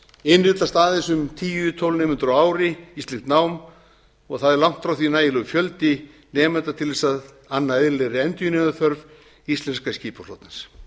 innritast aðeins um tíu til tólf nemendur á ári í slíkt nám og er það langt frá því nægilegur fjöldi nemenda til þess að anna eðlilegri endurnýjunarþörf íslenska skipaflotans